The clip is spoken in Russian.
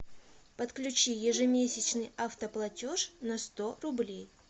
подключи ежемесячный автоплатеж на сто рублей